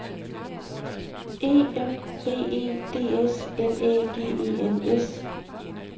E M B E D S L Æ G E N S